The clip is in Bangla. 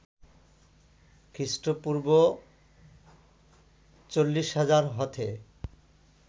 খ্রী: পূর্ব ৪০০০০ হতে